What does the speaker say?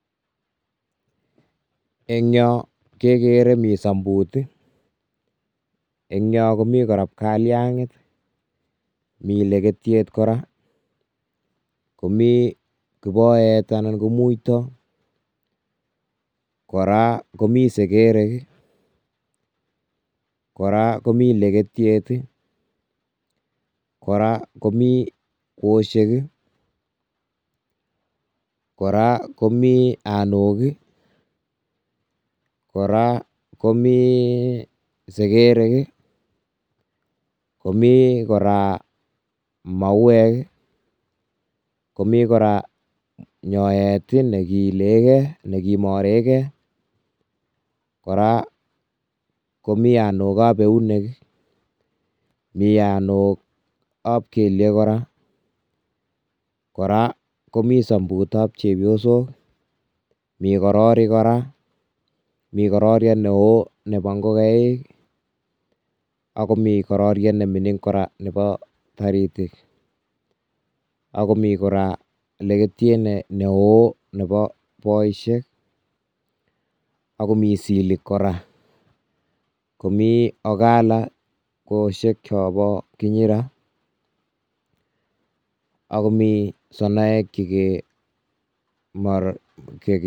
Eng yon kekere mi sambut ii, eny yon komi kora bkaliang, mi leketiet kora, komi kiboet anan ko muito, kora komi sekerek, kora komi leketiet ii, kora komi kwosiek ii, kora komi anok ii, kora komi sekerek ii, komi kora mauwek ii, komi kora nyoet ii nekiileke, nekimoreke, kora komi anok ab eunek ii, mi anok ab kelyek kora, kora komi sambut ab chepyosok mi kororik kora, mi kororiet neoo nebo ngokaik, ak komi kororiet nemining kora nebo taritik, akomi kora leketiet neoo nebo boisiek, akomi silik kora, komi ogala kwosiek chobo kinyira, Ako sonoek.